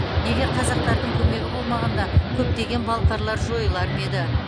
егер қазақтардың көмегі болмағанда көптеген балқарлар жойылар ма еді